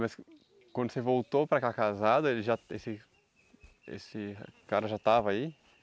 Mas quando você voltou para cá casado, ele já esse esse cara já estava aí?